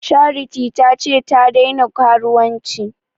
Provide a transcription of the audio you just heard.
Charity ta ce ta daina karuwanci